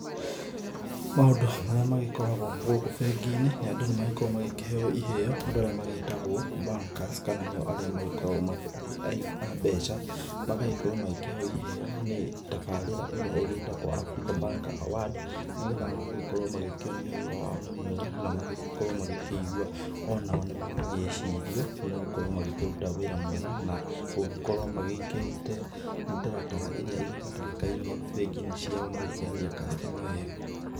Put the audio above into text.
Maũndũ marĩa magĩkoragwo gũkũ bengi-inĩ, andũ nĩ magĩkoragwo magĩkĩheo iheo andũ arĩa magĩtagwo bankers kana nĩ arĩa magĩkoragwo aigi a mbeca, magagĩkorwo magĩkĩheo iheo nĩ tabarĩra ĩrĩa ĩgĩtagwo Africa banker award nĩgetha magagĩkorwo magĩkĩonio wĩra wao nĩ mwega na magĩkorwo magĩkĩigua o nao nĩ maragĩcirio nĩ gũkorwo nĩ magĩkĩruta wĩra mwega na gũgĩkorwo magĩkĩrĩte mĩtaratara ĩrĩa ĩgĩbatarĩkainie bengi-inĩ ciao na gũkĩarĩria customer wega.